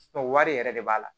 wari yɛrɛ de b'a la